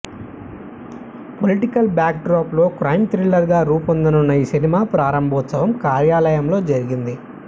political backdrop లో crime thriller గా రూపొందనున్న ఈ సినిమా ప్రారంభోత్సవం కార్యాలయంలో జరిగింది